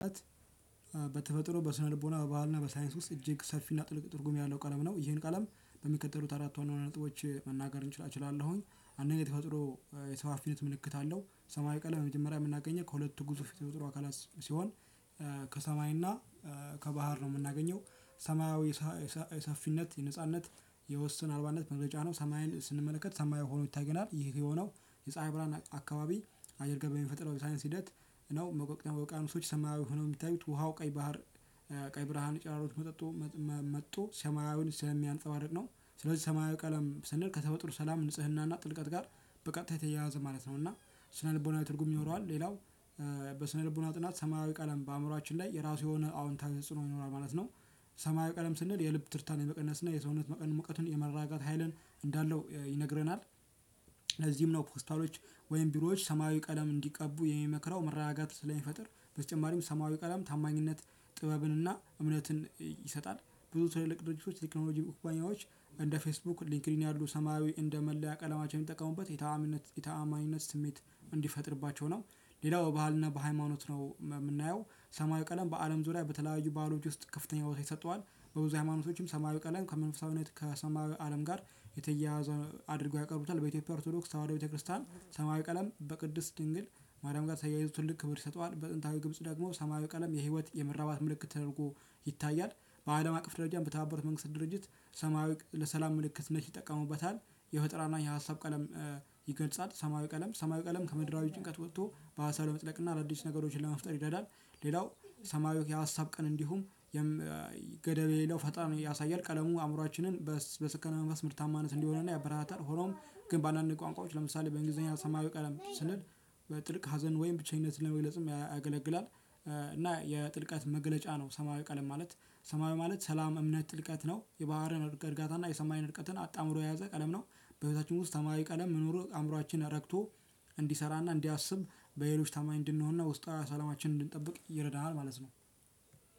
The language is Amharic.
በተፈጥሮ በስነልቦና በባህልና በሳይንስ ውስጥ እጅግ ሰልፊና ጥልቅ ትርጉም ያለው ቀለም ነው ይሄን ቀለም በሚቀጥሉት አራት ዋና ነጥቦች መናገር እችላለሁኝ። አንደኛ ተፈጥሮ የሰባፊነት ምልክት አለው። ሰማያዊ ቀለም በመጀመሪያ የምናገኘው ከሁለቱ ግዙፍ የተፈጥሮ አካላት ሲሆን ከሰማይና ከባህር ነው የምናገኘው። ሰማያዊ የሰፊነት የነጻነት የወሰን አልባነት መግለጫ ነው። ሰማይን ስንመለከት ሰማይ ሆኖ ይታየናል ይህ የሆነው የፀሀይ ብርሃን አካባቢ አየር ገበኝ የሚፈጥረው የሳይንስ ሂደት ነው። መቆቅተመው ቃኑሶች ሰማያዊ ሆነው የሚታዩት ውሃው ቀይ ባህር ቀይ ብርሃን ጨረሮች መጥቶ መጥቶ ሰማያዊን ሰማያዊውን ስለሚያንጸባርቅ ነው። ስለዚህ ሰማያዊ ቀለም ስንል ከተፈጥሮ ሰላም ንጽህናና ጥልቀት ጋር በቀጥታ ተያያዘ ማለት ነው። እና ስነልቦናዊ ትርጉም ይኖረዋል። ሌላው በስነልቦና ጥናት ሰማያዊ ቀለም በአእምሮአችን ላይ የራሱ የሆነ አዎንታዊ ተጽዕኖ ይኖራል ማለት ነው። ሰማያዊ ቀለም ስንል የልብ ትርታን የመቀነስ እና የሰውነት መጠን ሙቀትን የማረጋጋት ሀይልን እንዳለው ይነግረናል። ለዚህም ነው ፖስታሎች ወይም ቢሮዎች ሰማያዊ ቀለም እንዲቀቡ የሚመክረው መረጋጋት ስለሚፈጥር። በተጨማሪም ሰማያዊ ቀለም ታማኝነት ጥበብን እና እምነትን ይሰጣል። ብዙ ትልልቅ ድርጅቶች ቴክኖሎጂ ኩባንያዎች እንደ ፌስቡክ ሊንክሊን ያሉ ሰማያዊ እንደ መለያ ቀለማቸው የሚጠቀሙበት የታምነት የታማኝነት ስሜት እንዲፈጥርባቸው ነው። ሌላው በባህልና በሃይማኖት ነው የምናየው ሰማያዊ ቀለም በአለም ዙሪያ በተለያዩ ባህሎች ውስጥ ከፍተኛ ቦታ ይሰጠዋል። በብዙ ሃይማኖቶችም ሰማያዊ ቀለም ከመንፈሳዊነት ከሰማዩ አለም ጋር የተያያዘ አድርጎ ያቀርቡታል። በኢትዮጵያ ኦርቶዶክስ ተዋህዶ ቤተክርስቲያን ሰማያዊ ቀለም በቅድስት ድንግል ማርያም ጋር ተያይዞ ትልቅ ክብር ይሰጠዋል። በጥንታዊ ግብጽ ደግሞ ሰማያዊ ቀለም የህይወት የመራባት ምልክት ተደርጎ ይታያል። በአለም አቅፍ ደረጃም በተባበሩት መንግስት ድርጅት ሰማያዊ ለሰላም ምልክትነት ይጠቀሙበታል። የፈጠራና የሀሳብ ቀለም ይገልጻል። ሰማያዊ ቀለም ሰማያዊ ቀለም ከምድራዊ ጭንቀት ወጥቶ በሀሳብ ለመጥለቅ እና አዳዲስ ነገሮችን ለመፍጠር ይረዳል። ሌላው ሰማያዊው የሀሳብ ቀን እንዲሁም ገደብ የሌለው ፈጣን ያሳያል ቀለሙ አእምሮአችንን በሰከነ መንፈስ ምርታማነት እንዲሆንና ያበረታታል። ሆኖም ግን በአንዳንድ ቋንቋዎች ለምሳሌ በእንግሊዘኛ ሰማያዊ ቀለም ስንል በጥልቅ ሀዘን ወይም ብቸኝነት ለመግለጽም ያገለግላል። እና የጥልቀት መለለጫ ነው። ሰማያዊ ቀለም ማለት ሰማያዊ ማለት ሰላም እምነት ጥልቀት ነው የባህርን እርጋታ እና የሰማይን ቅጥን አጣምሮ የያዘ ቀለም ነው። በቤታችን ውስጥ ተማሪ ቀለም መኖሩ አእምሮአችን ረግቶ እንዲሰራና እንዲያስብ በሌሎች ታማኝ እንድንሆንና ውስጣዊ ሰላማችንን እንድንጠብቅ ይረዳናል። ማለት ነው።